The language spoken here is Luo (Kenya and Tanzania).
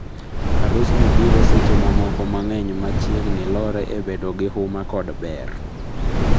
Arus ni biro seche ma moko mang'eny machegni lore e bedo gi huma kod ber